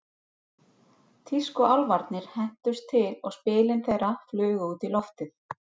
Tískuálfarnir hentust til og spilin þeirra flugu út í loftið.